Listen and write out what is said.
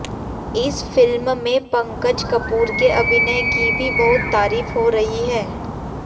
इस फिल्म में पंकज कपूर के अभिनय की भी बहुत तारीफ हो रही है